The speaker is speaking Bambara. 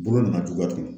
Bolo nana cogo di